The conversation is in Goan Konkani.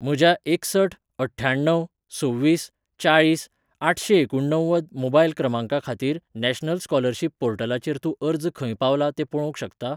म्हज्या एकसठ अठ्ठ्याण्णव सव्वीस चाळीस आठशेंएकुणणव्वद मोबायल क्रमांका खातीर नॅशनल स्कॉलरशिप पोर्टलाचेर तूं अर्ज खंय पावला तें पळोवंक शकता?